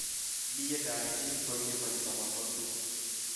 Niĩ ndarĩ kĩhiko-inĩ maita matatũ